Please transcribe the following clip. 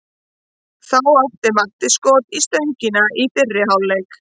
Þá átti Matti skot í stöngina í fyrri hálfleik.